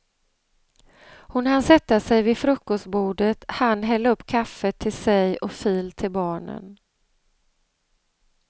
Hon hann sätta sig vid frukostbordet, hann hälla upp kaffe till sig och fil till barnen.